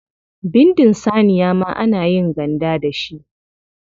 Bindin saniya ma ana yin ganda da shi.